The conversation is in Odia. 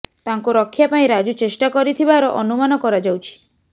ତାଙ୍କୁ ରକ୍ଷା ପାଇଁ ରାଜୁ ଚେଷ୍ଟା କରିଥିବାର ଅନୁମାନ କରାଯାଉଛି